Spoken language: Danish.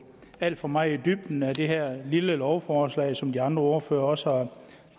alt for meget i dybden med det her lille lovforslag som de andre ordførere også har